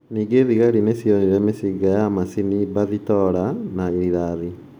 Ningĩ thigari nĩ cionire mĩcinga ya macini bathitora na rithathi.